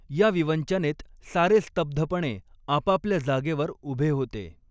या विवंचनेत सारे स्तब्धपणे आपापल्या जागेवर उभे होते.